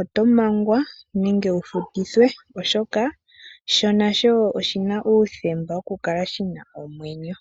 oto mangwa nenge wufutithwe oshoka sho nasho oshina uuthemba woku kala shina omwenyo.